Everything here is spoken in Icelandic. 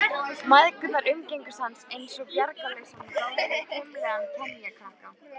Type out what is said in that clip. Mæðgurnar umgengust hann einsog bjargarlausan og dálítið hvimleiðan kenjakrakka.